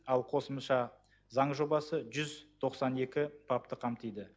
ал қосымша заң жобасы жүз тоқсан екі бапты қамтиды